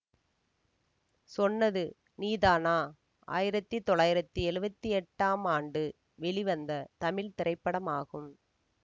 சொன்னது நீதானா ஆயிரத்தி தொள்ளாயிரத்தி எழுவத்தி எட்டாம் ஆண்டு வெளிவந்த தமிழ் திரைப்படமாகும்